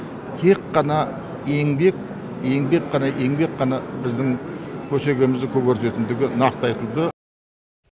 тек қана еңбек еңбек қана еңбек қана біздің көшегемізді көгертетіндігі нақты айтылды